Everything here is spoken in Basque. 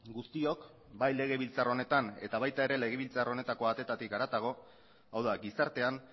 guztiok bai legebiltzar honetan eta baita ere legebiltzar honetako ateetatik harago hau da gizartean